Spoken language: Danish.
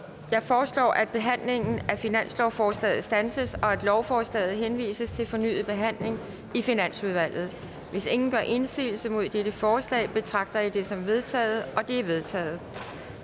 jeg foreslår at behandlingen af finanslovsforslaget standses og at lovforslaget henvises til fornyet behandling i finansudvalget hvis ingen gør indsigelse mod dette forslag betragter jeg det som vedtaget det er vedtaget